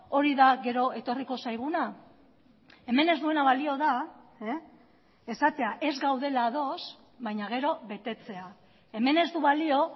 hori da gero etorriko zaiguna hemen ez duena balio da esatea ez gaudela ados baina gero betetzea hemen ez du balio